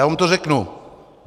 Já vám to řeknu.